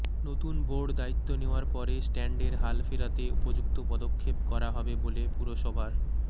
নতুন বোর্ড দায়িত্ব নেওয়ার পরে স্ট্যান্ডের হাল ফেরাতে উপযুক্ত পদক্ষেপ করা হবে বলে পুরসভার